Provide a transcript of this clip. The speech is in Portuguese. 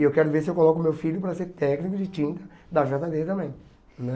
E eu quero ver se eu coloco meu filho para ser técnico de tinta da jota bê também né.